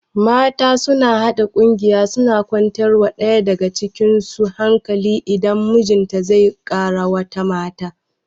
Mata suna haɗa ƙungiya suna kwantar wa ɗaya daga cikin su hankali idan mijinta zai kara wata mata